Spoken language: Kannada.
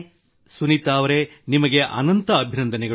ಸುನೀತಾ ಅವರೆ ನಿಮಗೆ ಅನಂತ ಅಭಿನಂದನೆಗಳು